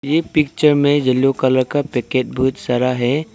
ये पिक्चर में yellow colour का पैकेट बहुत सारा है।